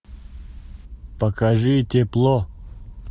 покажи тепло